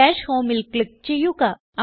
dash homeൽ click ചെയ്യുക